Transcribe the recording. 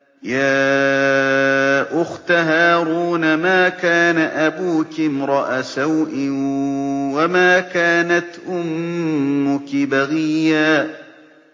يَا أُخْتَ هَارُونَ مَا كَانَ أَبُوكِ امْرَأَ سَوْءٍ وَمَا كَانَتْ أُمُّكِ بَغِيًّا